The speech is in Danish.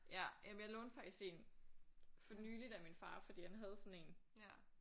Ja jamen jeg lånte faktisk én for nyligt af min far fordi han havde sådan én